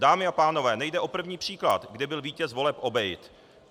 Dámy a pánové, nejde o první příklad, kdy byl vítěz voleb obejit.